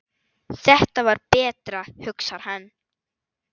Þetta var betra, hugsar hann.